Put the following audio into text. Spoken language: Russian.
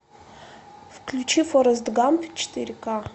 включи форест гамп четыре ка